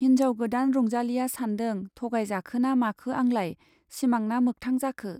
हिन्जाव गोदान रंजालीया सान्दों-थगाय जाखोना माखो आंलाय, सिमांना मोखथां जाखो !